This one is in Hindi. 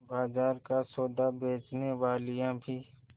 बाजार का सौदा बेचनेवालियॉँ भी